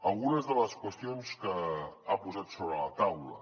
algunes de les qüestions que ha posat sobre la taula